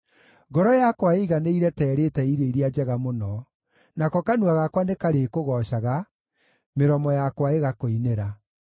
Ngoro yakwa ĩiganĩire ta ĩrĩĩte irio iria njega mũno; nako kanua gakwa nĩkarĩkũgoocaga, mĩromo yakwa ĩgakũinĩra.